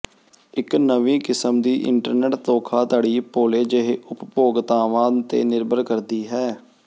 ਇੱਕ ਨਵੀਂ ਕਿਸਮ ਦੀ ਇੰਟਰਨੈਟ ਧੋਖਾਧੜੀ ਭੋਲੇ ਜਿਹੇ ਉਪਭੋਗਤਾਵਾਂ ਤੇ ਨਿਰਭਰ ਕਰਦੀ ਹੈ